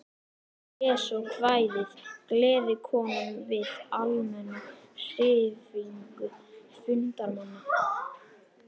Hann les svo kvæðið Gleðikonan við almenna hrifningu fundarmanna.